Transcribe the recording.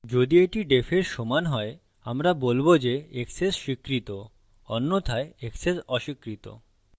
যদি এটি defএর সমান হয় আমরা বলবো যে access স্বীকৃত অন্যথায় access অস্বীকৃত